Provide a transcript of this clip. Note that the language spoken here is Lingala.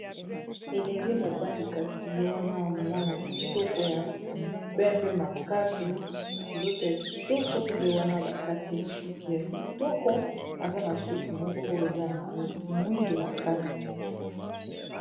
Elenge mobali, kasi ye wana mwana kitoko, ya pembe makasi. Nzoto ya kitoko; ye wana bakati ye suki ya kitoko Aza na suki moko eza na mwindu makasi.